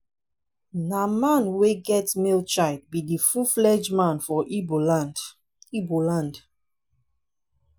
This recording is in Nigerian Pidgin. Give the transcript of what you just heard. na man wey get male child be de full flegde man for igbo land. igbo land.